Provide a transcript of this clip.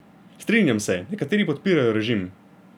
Strinjam se, nekateri podpirajo režim.